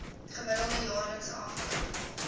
gemiddelde jaarlikse afloop